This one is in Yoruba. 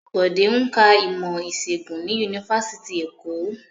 Bode ń ka ìmọ̀-ìṣègùn ni Yunifásitì Èkó.